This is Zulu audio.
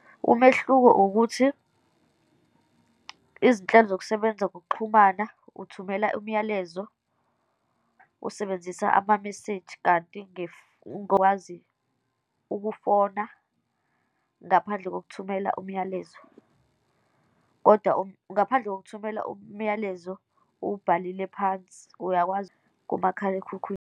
Umehluko ukuthi izinhlelo zokusebenza ngokuxhumana, uthumela umyalezo, usebenzisa ama-message. Kanti ungowazi ukufona ngaphandle kokuthumela umyalezo, kodwa ngaphandle kokuthumela umyalezo uwubhalile phansi, uyakwazi kumakhalekhukhwini.